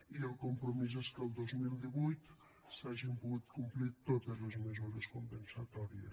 i el compromís és que el dos mil divuit s’hagin pogut complir totes les mesures compensatòries